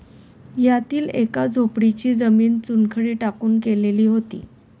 यातील एका झोपडीची जमीन चुनखडी टाकून केलेली होती.